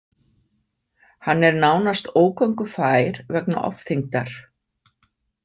Hann er nánast ógöngufær vegna ofþyngdar.